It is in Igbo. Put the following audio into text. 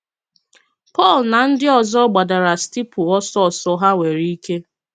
Pọl na ndị ọzọ gbadara steepụ ọsọ ọsọ ha nwere ike.